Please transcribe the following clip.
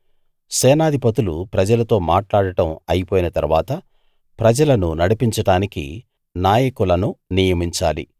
సేనాధిపతులు ప్రజలతో మాట్లాడడం అయిపోయిన తరువాత ప్రజలను నడిపించడానికి నాయకులను నియమించాలి